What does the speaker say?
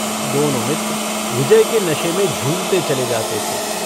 दोनो मित्र विजय के नशे में झूमते चले जाते थे।